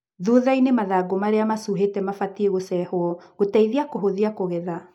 Thuthainĩ mathangũ maĩa macuhĩte mabatie gũcehwo gũtethia kũhũthia kũgetha.